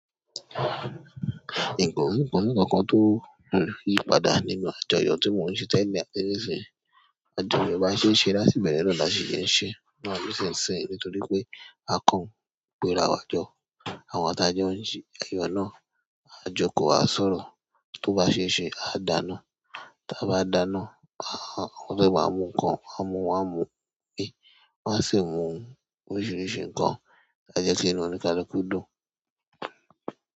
Ìgò ń kùn ní ọ̀kan kan tó ń yí padà nínú àjọyọ̀ tí mò ń ṣe tẹ́lẹ̀ ní abẹ́ ní ìsìn. Àjọyọ̀ bá ṣe ń ṣe láti ìbẹ̀rẹ̀ náà là sí ṣe ń ṣe, náà ló ṣe é ṣe nítorí pé a kàn pè ara wa jọ. Àwọn tí a jọ ń ṣe, ẹ̀yọ náà a jókòó, a sọ̀rọ̀. Tó bá ṣeé ṣe, a dá náà. Tí a bá dáná, àwọn tó bá mú ǹkan, a mú wọn mú bí. Wọ́n á sì mú ohun oríṣiríṣi nǹkan tí a jẹ́ kí inú oníkálukú dùn.